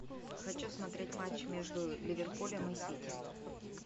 хочу смотреть матч между ливерпулем и сити